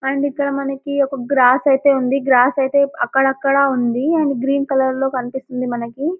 and ఇక్కడ మనకి ఒక గ్రాస్ అయితే ఉంది గ్రాస్ అయితే అక్కడక్కడ ఉంది అండ్ గ్రీన్ కలర్ లో కనిపిస్తుంది మనకి --